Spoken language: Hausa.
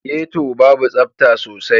Getto babu tsafta sosai.